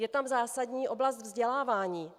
Je tam zásadní oblast vzdělávání.